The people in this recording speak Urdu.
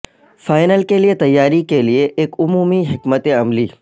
فائنل کے لئے تیاری کے لئے ایک عمومی حکمت عملی